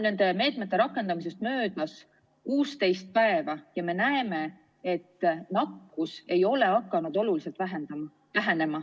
Nende meetmete rakendamise algusest on möödunud 16 päeva, aga me näeme, et nakkus ei ole hakanud oluliselt vähenema.